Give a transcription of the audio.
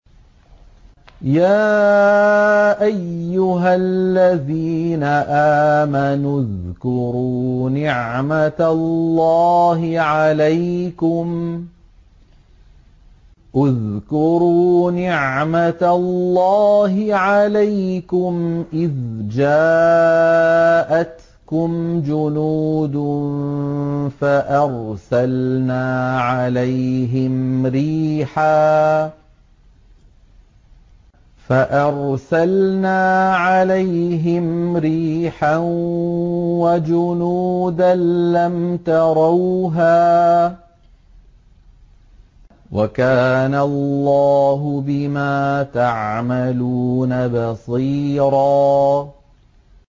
يَا أَيُّهَا الَّذِينَ آمَنُوا اذْكُرُوا نِعْمَةَ اللَّهِ عَلَيْكُمْ إِذْ جَاءَتْكُمْ جُنُودٌ فَأَرْسَلْنَا عَلَيْهِمْ رِيحًا وَجُنُودًا لَّمْ تَرَوْهَا ۚ وَكَانَ اللَّهُ بِمَا تَعْمَلُونَ بَصِيرًا